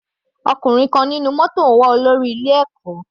Ọkùnrin kan nínú mótò ń wá olórí ilé ẹ̀kọ́.